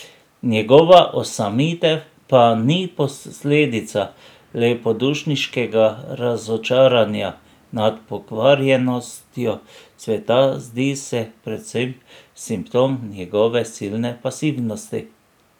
Njegova osamitev pa ni posledica lepodušniškega razočaranja nad pokvarjenostjo sveta, zdi se predvsem simptom njegove silne pasivnosti.